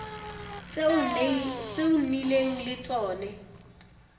tse o nnileng le tsone